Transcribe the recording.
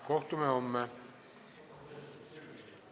Kohtume homme!